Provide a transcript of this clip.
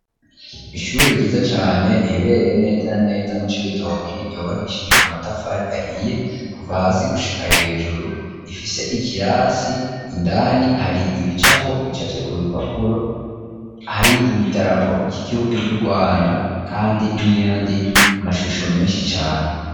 Ishure ryiza cane riherereye neza na neza mu Cibitoke, ryubakishije amatafari ahiye kuva hasi gushika hejuru, rifise ikirasi, indani hari ibicapo bicafye ku bipapuro, hari idarapo ry'igihugu c'Urwanda kandi n'ayandi mashusho menshi cane.